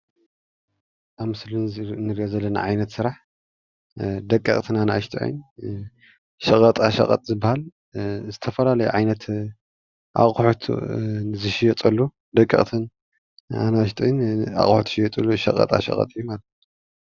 ኣብ ምስሊ ንርእዮ ዘለፋና ዓይነት ስራሕ ደቀቕትን ኣናእሹተይን ሸቐጣ ሸቐጥ ዝባሃል፣ ዝተፈላለዩ ዓይነት ኣቑሑትን ዝሽየጠሉ ደቀቕትን ኣናኣሹተይን ኣቑሑት ዝሽየጥሉ ሸቐጣ ሸቐጥ እዩ።